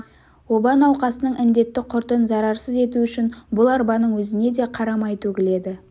оба науқасының індетті құртын зарарсыз ету үшін бұл арбаның өзіне де қара май төгіледі